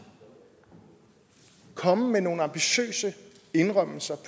komme med nogle ambitiøse indrømmelser